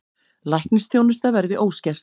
Læknisþjónusta verði óskert